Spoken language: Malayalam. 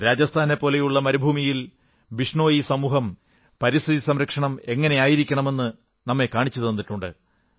രാജസ്ഥാനെപ്പോലെയുള്ള മരുഭൂമിയിൽ ബിഷ്ണോയി സമൂഹം പരിസ്ഥിതി സംരക്ഷണം എങ്ങനെയായിരിക്കണമെന്ന് നമ്മെ കാണിച്ചു തന്നിട്ടുണ്ട്